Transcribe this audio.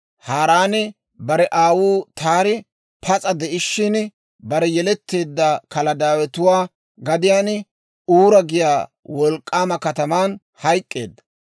Haaraani bare aawuu Taari pas'a de'ishshin, bare yeletteedda Kaladaawetuwaa gadiyaan, Uura giyaa wolk'k'aama kataman hayk'k'eedda.